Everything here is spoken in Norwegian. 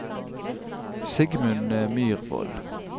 Sigmund Myrvold